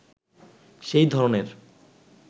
সেই ধরনের